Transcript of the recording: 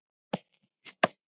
Á þjóðin þetta skilið?